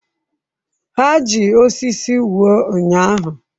Ha ji osisi wuo ụnyaahụ?